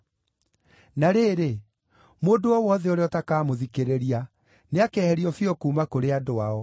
Na rĩrĩ, mũndũ o wothe ũrĩa ũtakamũthikĩrĩria, nĩakeherio biũ kuuma kũrĩ andũ ao.’